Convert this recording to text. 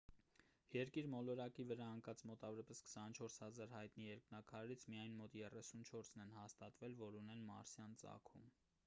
երկիր մոլորակի վրա ընկած մոտավորապես 24 000 հայտնի երկնաքարերից միայն մոտ 34-ն են հաստատվել որ ունեն մարսյան ծագում